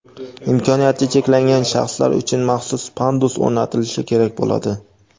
imkoniyati cheklangan shaxslar uchun maxsus pandus o‘rnatilishi kerak bo‘ladi.